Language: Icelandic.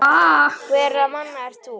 Hverra manna ert þú?